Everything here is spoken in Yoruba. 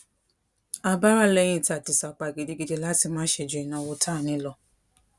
a bá rà léyìn tá a ti sapá gidigidi láti má ṣe ju ìnáwó tá a ní lọ